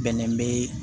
Bɛnɛ bɛ